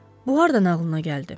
Bu hardan ağlına gəldi?